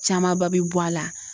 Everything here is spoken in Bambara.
Camanba be bɔ a la.